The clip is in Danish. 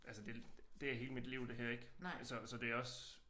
Altså det det er hele mit liv det her ik så så det også